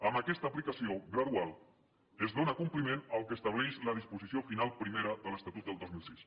amb aquesta aplicació gradual es dóna compliment al que estableix la disposició final primera de l’estatut del dos mil sis